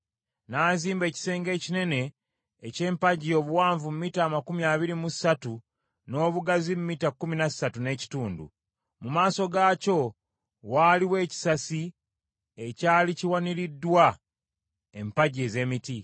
N’azimba ekisenge ekinene eky’empagi obuwanvu mita amakumi abiri mu ssatu n’obugazi mita kkumi na ssatu n’ekitundu. Mu maaso gaakyo waaliwo ekisasi, ekyali kiwaniriddwa empagi ez’emiti.